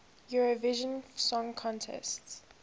eurovision song contest